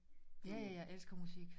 Ja ja jeg elsker musik